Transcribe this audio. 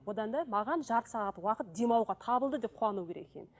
одан да маған жарты сағат уақыт демалуға табылды деп қуану керек екен